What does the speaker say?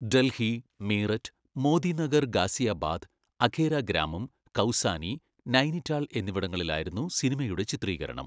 ഡൽഹി, മീററ്റ്, മോദിനഗർ ഗാസിയാബാദ്, അഘേര ഗ്രാമം, കൗസാനി, നൈനിറ്റാൾ എന്നിവിടങ്ങളിലായിരുന്നു സിനിമയുടെ ചിത്രീകരണം.